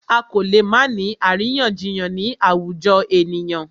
A kò lè má ni àríyànjiyàn ni àwùjọ ènìyàn.